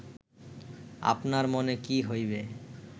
আপনার মনে কি হইবে